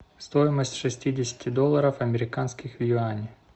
стоимость шестидесяти долларов американских в юани